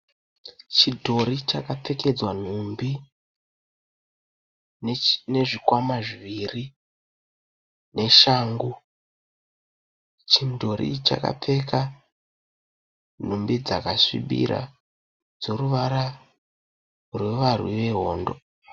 Chidhori chakapfekedzwa nhumbi nezvikwama zviviri neshangu. Chimudhori ichi chakapfeka nhumbi dzakasvibira dzeruvara rwevarwi vehondo.